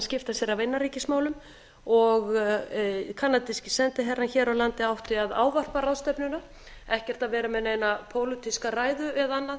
skipta sér af innanríkismálum kanadíski sendiherrann hér á landi átti að ávarpa ráðstefnuna ekkert að vera með neina pólitíska ræðu eða annað